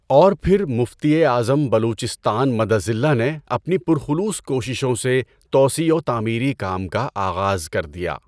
اور پھر مفتی اعظم بلوچستان مد ظلہ نے اپنی پُرخلوص کوششوں سے توسیع و تعمیری کام کا آغاز کر دیا۔